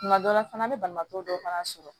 Tuma dɔ la fana an bɛ banabaatɔ dɔw fana sɔrɔ